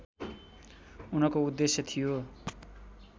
उनको उद्देश्य थियो